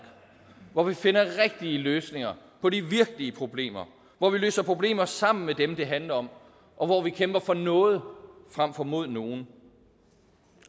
hvor vi finder rigtige løsninger på de virkelige problemer hvor vi løser problemer sammen med dem der handler om og hvor vi kæmper for noget frem for mod nogen